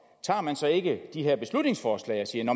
tager man så ikke de her beslutningsforslag og siger